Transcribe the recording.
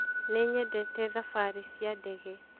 Nĩnyendete thabarĩ cia ndege